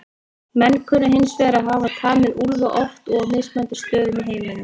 Menn kunna hins vegar að hafa tamið úlfa oft og á mismunandi stöðum í heiminum.